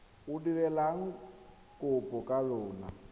o dirileng kopo ka lona